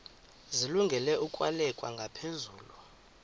zilungele ukwalekwa ngaphezulu